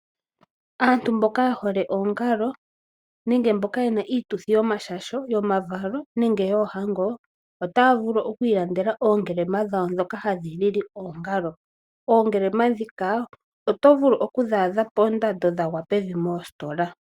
Aantu mboka yehole oongalo nenge mboka yena iituthi yomashasho, yomavalo nenge yoohango otaya vulu okwiilandela ongelema dhoka hadhi lili oongalo, ongelema dhoka oto vulu okudhi adha pondando dhili pevi mostola.